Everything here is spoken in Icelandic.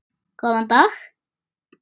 Góðan dag?